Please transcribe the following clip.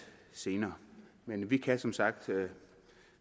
senere men vi kan som sagt